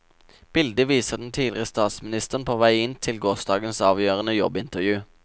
Bildet viser den tidligere statsministeren på vei inn til gårsdagens avgjørende jobbintervju.